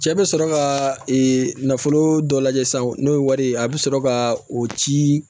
Cɛ bɛ sɔrɔ ka nafolo dɔ lajɛ sisan n'o ye wari ye a bɛ sɔrɔ ka o ci